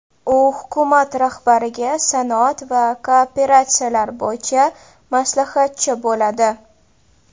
U hukumat rahbariga sanoat va kooperatsiyalar bo‘yicha maslahatchi bo‘ladi.